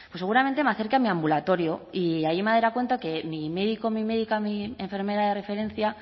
pues seguramente me acerque a mi ambulatorio y allí me daría cuenta de que mi médico mi médica mi enfermera de referencia